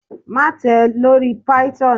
Maṣe tẹ lori Python